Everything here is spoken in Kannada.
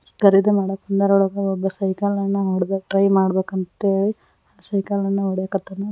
ಖರೀದಿ ಮಾಡಕ್ ಬಂದರೋಳಗ ಒಬ್ಬ ಸೈಕಲ್ ನ ಒಡೆದು ಟ್ರೈ ಮಾಡಬೇಕಂತೇಳಿ ಸೈಕಲ ನ ಹೊಡೆಕತ್ತಾನ.